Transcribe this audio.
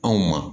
Anw ma